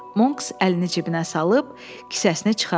Monks əlini cibinə salıb, kisəsini çıxartdı.